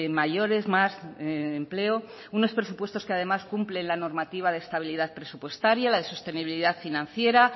mayores más empleo unos presupuestos que además cumplen la normativa de estabilidad presupuestaria la de sostenibilidad financiera